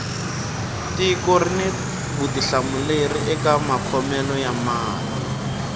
tiko rini vutihlamuleri eka makhomele ya mali